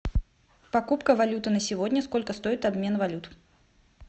покупка валюты на сегодня сколько стоит обмен валют